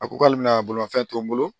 A ko k'ale bɛna bolimafɛn to n bolo